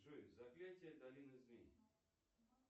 джой заклятие долины змей